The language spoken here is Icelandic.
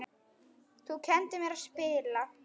Þú kenndir mér að spila.